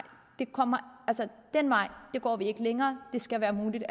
den vej går vi ikke længere det skal være muligt